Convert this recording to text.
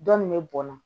Dɔn nin bɛ bɔn na